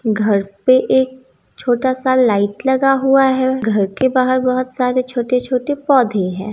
घर पे एक छोटा सा लाइट लगा हुआ है घर के बाहर बहुत सारे छोटे-छोटे पौधे हैं।